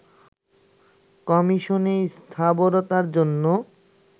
কমিশনের স্থবিরতার জন্য